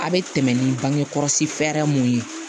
A bɛ tɛmɛ ni bangekɔlɔsi fɛɛrɛ mun ye